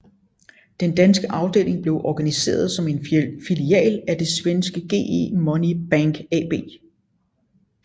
Den danske afdeling blev organiseret som en filial af det svenske GE Money Bank AB